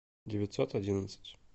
девятьсот одиннадцать